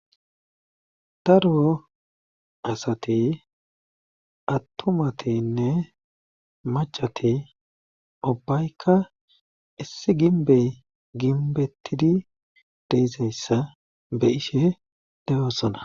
Darwo asati attumatinne macati ubbaykka issi ginbey ginbettidi deizayssa be ishe deyosona